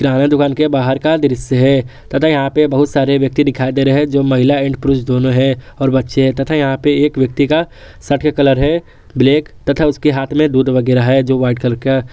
यहां पे दुकान के बाहर का दृश्य है तथा यहां पे बहुत सारे व्यक्ति दिखाई दे रहे हैं जो महिला एंड पुरुष दोनों है और बच्चे हैं तथा यहां पे एक व्यक्ति का शर्ट का कलर है ब्लैक तथा उसके हाथ में दूध वगैरा हैं जो व्हाइट कलर का--